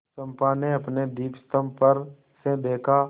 चंपा ने अपने दीपस्तंभ पर से देखा